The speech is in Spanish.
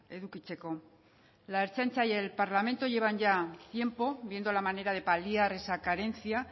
edukitzeko la ertzaintza y el parlamento llevan ya tiempo viendo la manera de paliar esa carencia